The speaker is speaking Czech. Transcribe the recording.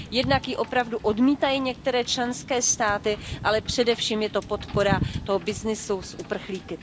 Jednak ji opravdu odmítají některé členské státy, ale především je to podpora toho byznysu s uprchlíky.